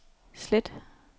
slet